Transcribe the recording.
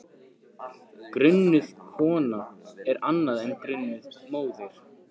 Grunuð kona er annað en grunuð móðir.